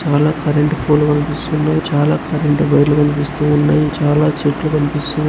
చాలా కరెంట్ ఫూలు కనిపిస్తున్నాయ్. చాలా కరెంట్ వైర్లు కనిపిస్తూ ఉన్నాయ్. చాలా చెట్లు కనిపిస్సు --